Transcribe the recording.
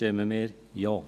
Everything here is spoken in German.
Deshalb stimmen wir Ja.